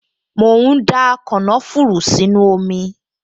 Mò ń da kànáfùrù sínú omi